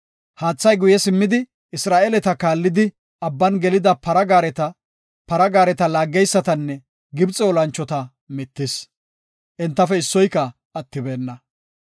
Haathay guye simmidi, Isra7eeleta kaallidi Abban gelida para gaareta, para gaareta laaggeysatanne Gibxe olanchota mittis. Entafe issoyka attibeenna.